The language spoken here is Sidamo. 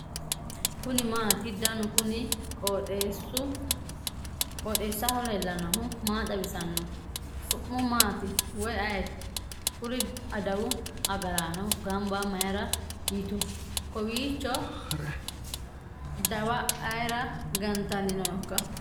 kuni maati ? danu kuni qooxeessaho leellannohu maa xawisanno su'mu maati woy ayeti ? kuri adawu agaraanno gamba mayra yitu kowiicho ? dawa ayera gantanni nooikka ?